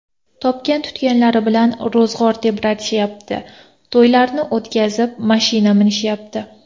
Topgan-tutganlari bilan ro‘zg‘or tebratishayapti, to‘ylarni o‘tkazib, mashina minishayapti.